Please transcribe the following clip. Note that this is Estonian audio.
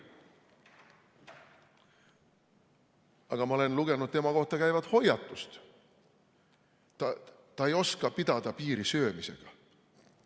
Aga ma olen lugenud tema kohta käivat hoiatust: ta ei oska pidada piiri söömisega.